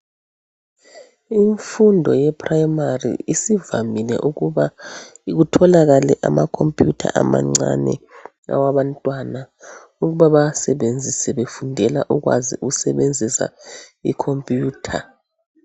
Imfundo ye primary isivamile ukuba kutholakale ama computer amancane awabantwana ukuba bawasebenzise befundela ukwazi ukusebenzisa icomputer.